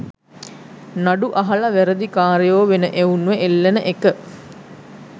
නඩු අහල වැරදි කාරයෝ වෙන එවුන්ව එල්ලන එක